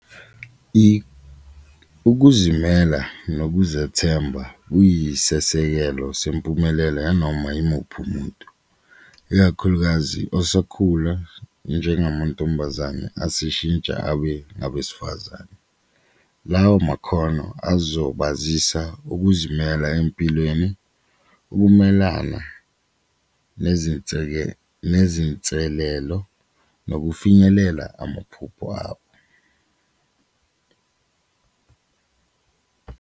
Ukuzimela nokuzethemba kuyisesekelo sempumelelo yanoma yimuphi umuntu, ikakhulukazi osakhula njengamantombazane aseshintsha abe abesifazane lawo makhono azokwazisa ukuzimela empilweni, ukumelana nezinselelo nokufinyelela amaphupho abo.